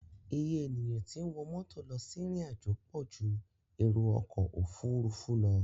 Iye ènìyàn tí ń wọ mọ́tò lọ sí ìrìnàjò pọ̀ ju èrò ọkọ̀ òfuurufú lọ.